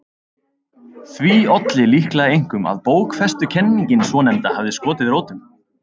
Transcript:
Því olli líklega einkum að bókfestukenningin svonefnda hafði skotið rótum.